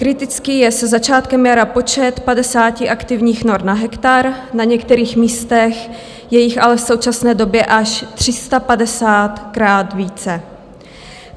Kritický je se začátkem jara počet 50 aktivních nor na hektar, na některých místech je jich ale v současné době až 350 a více.